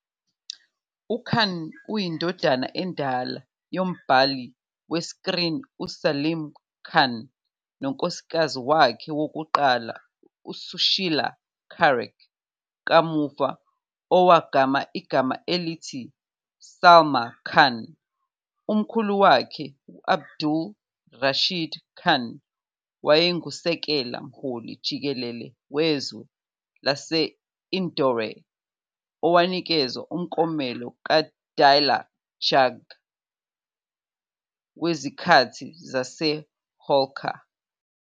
UKhan uyindodana endala yombhali wesikrini uSalim Khan nonkosikazi wakhe wokuqala uSushila Charak, kamuva owagama igama elithi Salma Khan. Umkhulu wakhe u-Abdul Rashid Khan wayenguSekela Mhloli Jikelele Wezwe lase-Indore owanikezwa umklomelo kaDiler Jung wezikhathi zaseHolkar.